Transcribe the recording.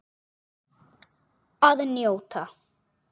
Að njóta.